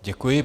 Děkuji.